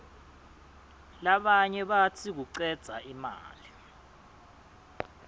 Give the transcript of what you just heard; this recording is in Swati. labanye batsi kucedza imali